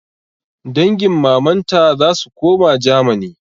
Dangin mamanta zasu koma germany